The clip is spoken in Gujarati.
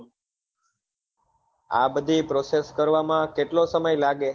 આ બધી process કરવા માં કેટલો સમય લાગે